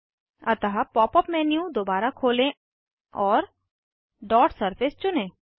अतः pop up menu दोबारा खोलें और डॉट सरफेस चुनें